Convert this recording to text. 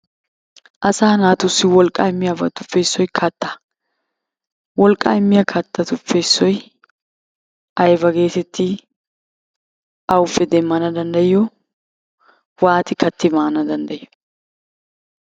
Asaa naatussi wolqqaa immiyabatuppe issoy kattaa. Wolqqaa immiya kattatuppe issoy ayba geetettii, awuppe demmanawu danddayiyo, waati katti maanawu danddayiyo?